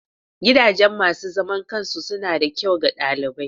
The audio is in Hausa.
Gidajen masu zaman kansu suna da kyau ga ɗalibai.